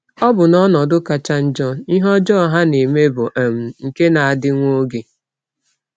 Ọbụna n’ọnọdụ kacha njọ, ihe ọjọọ ha na-eme bụ um nke na-adị nwa oge.